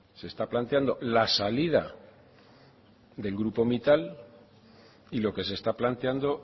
se está planteando la salida del grupo mittal y lo que se está planteando